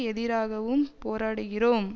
எதிராகவும் போராடுகிறோம்